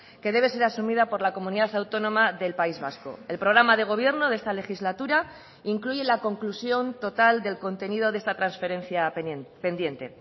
que debe ser asumida por la comunidad autónoma del país vasco el programa de gobierno de esta legislatura incluye la conclusión total del contenido de esta transferencia pendiente